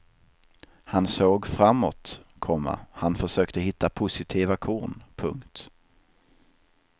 Han såg framåt, komma han försökte hitta positiva korn. punkt